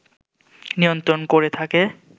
নিয়ন্ত্রণ করে থাকে